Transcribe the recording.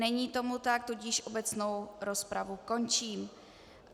Není tomu tak, tudíž obecnou rozpravu končím.